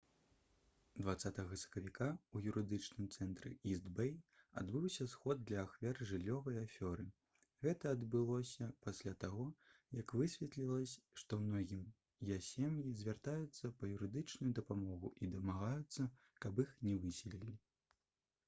20 сакавіка ў юрыдычным цэнтры іст-бэй адбыўся сход для ахвяр жыллёвай афёры гэта адбылося пасля таго як высветлілася што многія сем'і звяртаюцца па юрыдычную дапамогу і дамагаюцца каб іх не высялялі